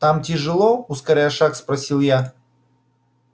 там тяжело ускоряя шаг спросил я